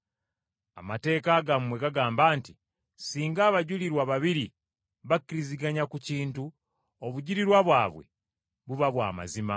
Amateeka gammwe gagamba nti ssinga abajulirwa babiri bakkiriziganya ku kintu, obujulirwa bwabwe buba bwa mazima.